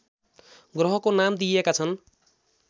ग्रहको नाम दिएका छन्